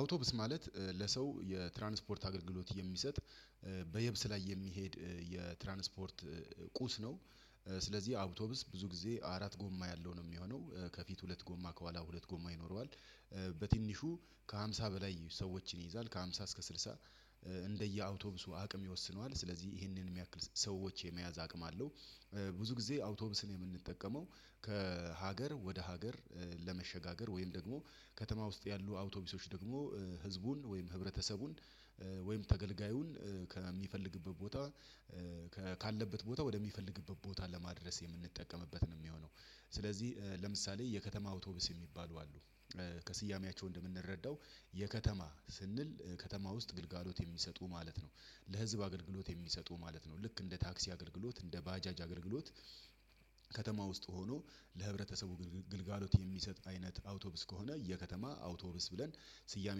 አውቶብስ ማለት ለሰው የትራንስፖርት አገልግሎት የሚሰጥ በየብስ ላይ የሚሄድ የትራንስፖርት ቁስ ነው። ስለዚህ አውቶብስ ብዙ ጊዜ አራት ጎማ ያለው ነው ሚሆነው። ከፊት ሁለት ጎማ ከኋላ ሁለት ጎማ ይኖረዋል። በትንሹ ከሃምሳ በላይ ሰዎችን ይይዛል ከሃምሳ እስከ ስልሳ እንደየአውቶቡሱ አቅም ይወስነዋል። ስለዚህ ይሄንን የሚያክል ሰዎች የመያዝ አቅም አለው። ብዙ ጊዜ አውቶብስን የምንጠቀመው ከሀገር ወደ ሀገር ለመሸጋገር ወይም ደግሞ ከተማ ውስጥ ያሉ አውቶቡሶች ደግሞ ህዝቡን ወይም ህብረተሰቡን ወይም ተገልጋዩን ከሚፈልግበት ቦታ ካለበት ቦታ ወደሚፈልግበት ቦታ ለማድረስ የምንጠቀምበት ነው ሚሆነው። ስለዚህ ለምሳሌ የከተማ አውቶብስ የሚባሉ አሉ። ከስያሜያቸው እንደምንረዳው የከተማ ስንል ከተማ ውስጥ ግልጋሎት የሚሰጡ ማለት ነው። ለህዝብ አገልግሎት የሚሰጡ ማለት ነው። ልክ እንደ ታክሲ አገልግሎት እንደ ባጃጅ አገልግሎት ከተማ ውስጥ ሆኖ ለህብረተሰቡ ግልጋሎት የሚሰጥ አይነት አውቶብስ ከሆነ የከተማ አውቶብስ ብለን ስያሜ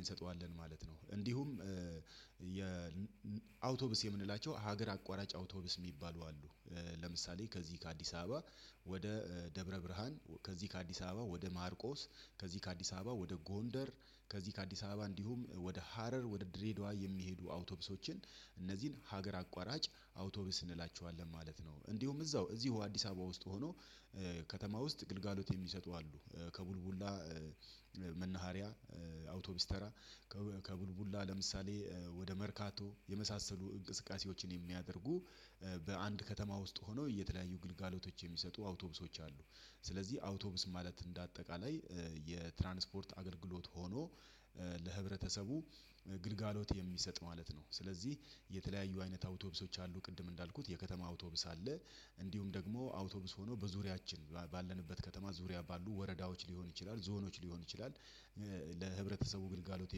እንሰጠዋለን ማለት ነው። እንዲሁም የ አውቶብስ የምንላቸው ሀገር አቋራጭ አውቶብስ ሚባሉ አሉ። ለምሳሌ ከዚህ ከአዲስ አበባ ወደ ደብረ ብርሃን፣ ከዚህ ከአዲስ አበባ ወደ ማርቆስ፣ ከዚህ ከአዲስ አበባ ወደ ጎንደር፣ ከዚህ ከአዲስ አበባ እንዲሁም ወደ ሀረር፣ ወደ ድሬዳዋ የሚሄዱ አውቶቡሶችን እነዚህን ሀገር አቋራጭ አውቶቡስ እንላቸዋለን ማለት ነው። እንዲሁም እዛው እዚሁ አዲስ አበባ ውስጥ ሆኖ ከተማ ውስጥ ግልጋሎት የሚሰጡ አሉ። ከቡልቡላ መናሃሪያ አውቶቡስ ተራ ከቡልቡላ ለምሳሌ ወደ መርካቶ የመሳሰሉ እንቅስቃሴዎችን የሚያደርጉ በአንድ ከተማ ውስጥ ሆነው የተለያዩ ግልጋሎቶች የሚሰጡ አውቶቡሶች አሉ። ስለዚህ አውቶብስ ማለት እንደ አጠቃላይ የትራንስፖርት አገልግሎት ሆኖ ለህብረተሰቡ ግልጋሎት የሚሰጥ ማለት ነው። ስለዚህ የተለያዩ አይነት አውቶቡሶች አሉ ቅድም እንዳልኩት የከተማ አውቶቡስ አለ እንዲሁም ደግሞ አውቶቡስ ሆኖ በዙሪያችን ባለንበት ከተማ ዙሪያ ባሉ ወረዳዎች ሊሆን ይችላል፣ ዞኖች ሊሆን ይችላል ለህብረተሰቡ ግልጋሎት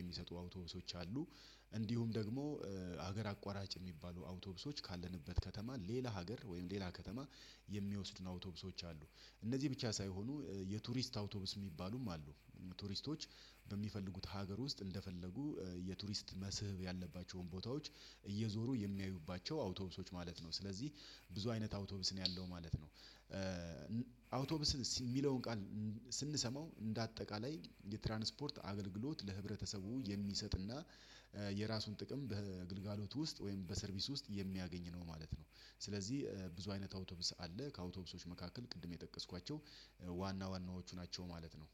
የሚሰጡ አውቶቡሶች አሉ። እንዲሁም ደግሞ ሀገር አቋራጭ የሚባሉ አውቶብሶች ካለንበት ከተማ ሌላ ሀገር ወይም ሌላ ከተማ የሚወስዱን አውቶቡሶች አሉ። እነዚህ ብቻ ሳይሆኑ የቱሪስት አውቶቡስ ሚባሉም አሉ። ቱሪስቶች በሚፈልጉት ሀገር ውስጥ እንደፈለጉ የቱሪስት መስህብ ያለባቸውን ቦታዎች እየዞሩ የሚያዩባቸው አውቶቡሶች ማለት ነው። ስለዚህ ብዙ አይነት አውቶቡስ ነው ያለው ማለት ነው። አውቶብስ ሚለውን ቃል ስንሰማው እንደ አጠቃላይ የትራንስፖርት አገልግሎት ለህብረተሰቡ የሚሰጥና የራሱን ጥቅም በግልጋሎት ውስጥ ወይም በሰርቪስ ውስጥ የሚያገኝ ነው ማለት ነው። ስለዚህ ብዙ አይነት አውቶብስ አለ ከአውቶብሶች መካከል ቅድም የጠቀስኳቸው ዋና ዋናዎቹ ናቸው ማለት ነው።